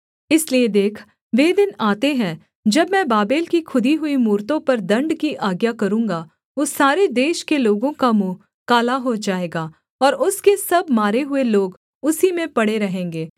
इसलिए देख वे दिन आते हैं जब मैं बाबेल की खुदी हुई मूरतों पर दण्ड की आज्ञा करूँगा उस सारे देश के लोगों का मुँह काला हो जाएगा और उसके सब मारे हुए लोग उसी में पड़े रहेंगे